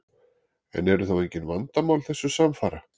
En eru þá engin vandamál þessu samfara?